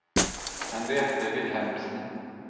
Henriette Wilhelmsen